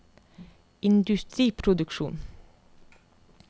industriproduksjon